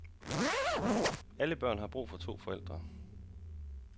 Alle børn har brug for to forældre.